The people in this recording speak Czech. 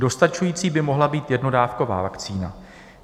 Dostačující by mohla být jednodávková vakcína.